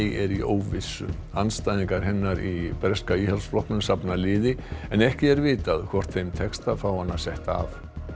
er í óvissu andstæðingar hennar í breska Íhaldsflokknum safna liði en ekki er vitað hvort þeim tekst að fá hana setta af